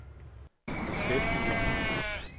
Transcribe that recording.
beskæftiger